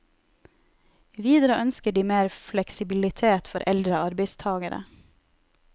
Videre ønsker de mer fleksibilitet for eldre arbeidstagere.